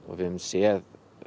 við höfum séð